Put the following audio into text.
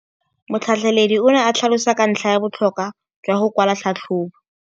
Motlhatlheledi o ne a tlhalosa ka ntlha ya botlhokwa jwa go kwala tlhatlhôbô.